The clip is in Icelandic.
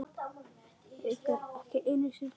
Haukur: Ekki einu sinni stundum?